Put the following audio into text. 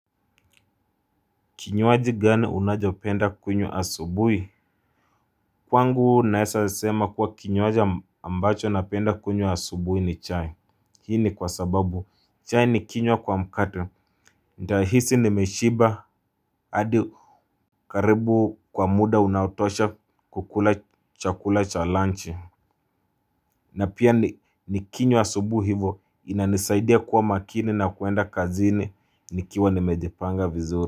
Kinywaji gani unachopenda kunywa asubuhi? Kwangu naweza sema kuwa kinywaji ambacho napenda kunywa asubuhi ni chai. Hii ni kwa sababu chai ni kinywa kwa mkate. Nitahisi nimeshiba hadi karibu kwa muda unaotosha kukula chakula cha lunch. Na pia ni kinywa asubuhi hivo inanisaidia kuwa makini na kuenda kazini nikiwa nimejipanga vizuri.